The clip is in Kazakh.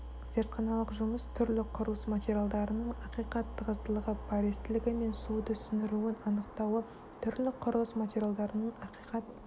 зертханалық жұмыс түрлі құрылыс материалдарының ақиқат тығыздылығы пористілігі мен суды сіңіруін анықтауы түрлі құрылыс материалдарының ақиқат